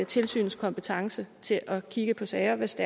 tilsynets kompetence til at kigge på sager hvis